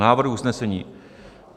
Návrh usnesení.